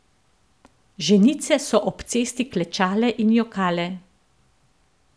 Ženice so ob cesti klečale in jokale.